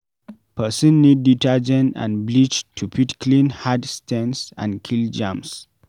Person need detergent and bleach to fit clean hard stains and kill germs